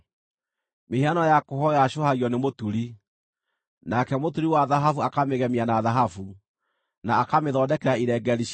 Mĩhianano ya kũhooywo yacũhagio nĩ mũturi, nake mũturi wa thahabu akamĩgemia na thahabu, na akamĩthondekera irengeeri cia betha.